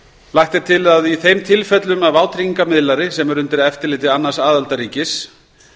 lagt er til að í þeim tilfellum að vátryggingamiðlari sem er undir eftirliti annars aðildarríkis